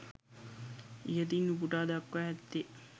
ඉහතින් උපුටා දක්වා ඇත්තේ